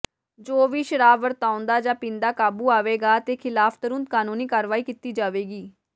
ਜੋ ਵੀ ਸ਼ਰਾਬ ਵਰਤਾਉਂਦਾ ਜਾਂ ਪੀਂਦਾ ਕਾਬੂ ਆਵੇਗਾ ਦੇ ਖਿਲਾਫ਼ ਤੁਰੰਤ ਕਾਨੂੰਨੀ ਕਾਰਵਾਈ ਕੀਤੀ ਜਾਵੇਗੀ